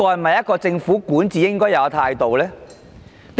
這是否政府管治的應有態度？